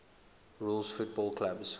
rules football clubs